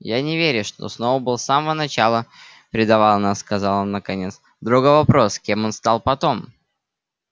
я не верю что сноуболл с самого начала предавал нас сказал он наконец другой вопрос кем он стал потом